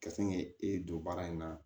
Ka sin k'e don baara in na